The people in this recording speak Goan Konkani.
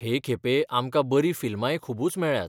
हे खेपे आमकां बरीं फिल्मांय खुबूच मेळ्ळ्यांत.